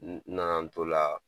Nana n t'o la